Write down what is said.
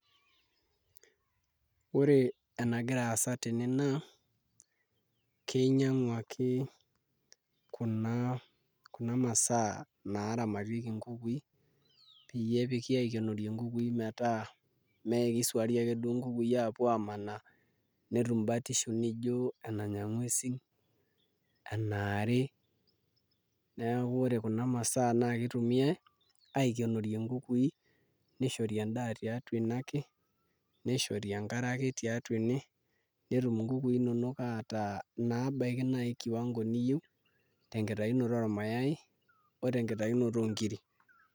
Ore enagira aasa tene naa kinyiang'uaki kuna masaa naaramatieki nkukui peyie epiki aikenoo nkukui mee kiswaari akeduo nkukuui aapuo aamanaa netum batisho nijio enanya nguesin enaari, neeku ore kuna masaa naa kitumiai aikenorie nkukui nishori endaa tiatua tene ake nishori enkare ake tiatua ene netum nkukui inonok aata inaabaiki kiwango niyieu tenkitayunoto ormayai o tenkitayunoto oonkiri.